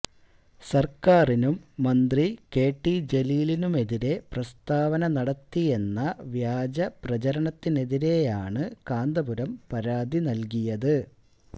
സര്ക്കാറിനും മന്ത്രി കെടി ജലീലിനുമെതിരെ പ്രസ്താവന നടത്തിയെന്ന വ്യാജപ്രചാരണത്തിനെതിരെയാണ് കാന്തപുരം പരാതി നല്കിയത്